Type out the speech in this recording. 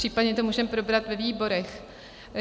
Případně to můžeme probrat ve výborech.